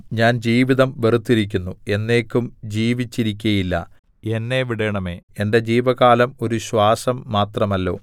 ഞാൻ ജീവിതം വെറുത്തിരിക്കുന്നു എന്നേക്കും ജീവിച്ചിരിക്കയില്ല എന്നെ വിടേണമേ എന്റെ ജീവകാലം ഒരു ശ്വാസം മാത്രമല്ലോ